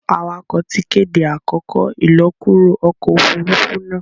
awakọ tí kéde àkókò ilọkuro ọkọ òfurufú náa.